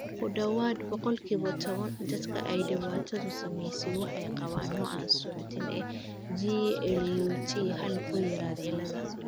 Ku dhawaad ​​boqolkiba toban dadka ay dhibaatadu saameysey waxay qabaan nooca aan suuxdin ee GLUT hal kuyarid cilada